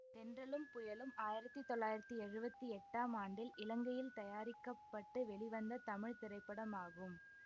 தென்றலும் புயலும் ஆயிரத்தி தொள்ளாயிரத்தி எழுவத்தி எட்டாம் ஆண்டில் இலங்கையில் தயாரிக்க பட்டு வெளி வந்த தமிழ் திரைப்படம் ஆகும்